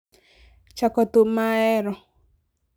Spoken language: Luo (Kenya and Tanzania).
chako thum ma ahero